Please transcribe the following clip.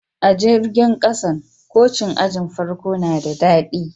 A jirigin kasan, koci'n ajin farko na de dadi.